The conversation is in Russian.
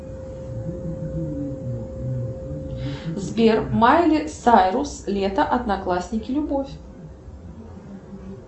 сбер майли сайрус лето одноклассники любовь